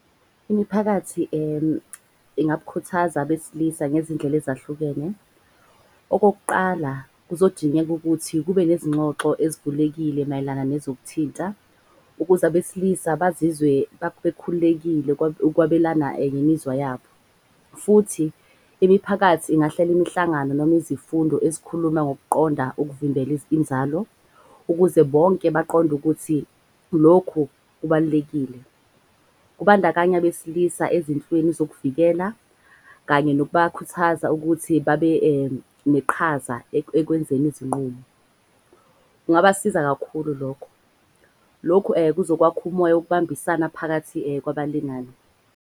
Imiphakathi ingabukhuthaza abesilisa ngezindlela ezahlukene. Okokuqala, kuzodingeka ukuthi kube nezingxoxo ezivulekile mayelana nezokuthinta. Ukuze abesilisa bazizwe bekhululekile ukwabelana ngemizwa yabo. Futhi imiphakathi ingahlela imihlangano noma izifundo ezikhuluma ngokuqonda ukuvimbela inzalo. Ukuze bonke baqonde ukuthi lokhu kubalulekile, kubandakanya besilisa ezinhlweni zokuvikela. Kanye nokubakhuthaza ukuthi babe neqhaza ekwenzeni izinqumo. Kungabasiza kakhulu lokho. Lokhu kuzokwakha umoya wokubambisana phakathi kwaba lingani.